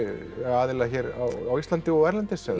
aðila hér á Íslandi og erlendis